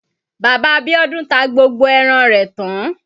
Bàbá Bíọ́dún ta gbogbo ẹran rẹ̀ tán.